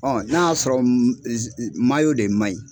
n'a y'a sɔrɔ de ma ɲi.